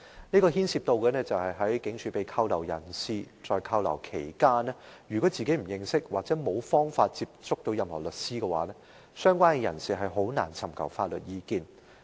就是對於被拘留在警署的人，如果他們不認識或沒有方法接觸任何律師，他們在拘留期間便難以尋求法律意見。